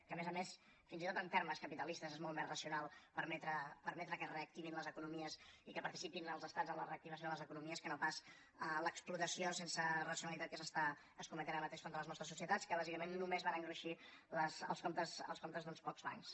que a més a més fins i tot en termes capitalistes és molt més racional permetre que es reactivin les economies i que participin els estats en les reactivació de les economies que no pas l’explotació sense racionalitat que s’està escometent ara mateix contra les nostres societats que bàsicament només van a engruixir els comptes d’uns pocs bancs